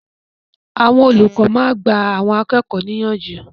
Àwọn olùkọ́ máa ń gba àwọn akẹ́kọ̀ọ́ ní ìyànjú.